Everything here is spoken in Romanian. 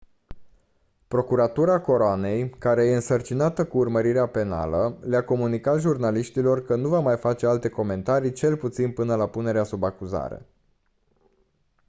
procuratura coroanei care e însărcinată cu urmărirea penală le-a comunicat jurnaliștilor că nu va mai face alte comentarii cel puțin până la punerea sub acuzare